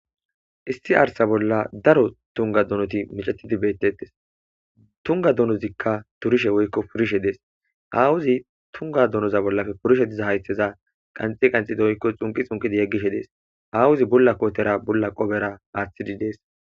Issi arssa bollan daro tungga donoti miccetidi beetetes tungga donizika dolishe woyko purishe dees addezika tungga donoza bolla diza hayththeza xunqqi xunqqi yegishe dees aawozi bulla kootera bulla qopera woththides.